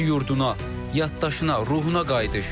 Öz yurduna, yaddaşına, ruhuna qayıdış.